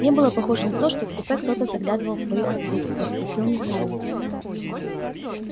не было похоже на то что в купе кто-то заглядывал в твоё отсутствие спросил михаил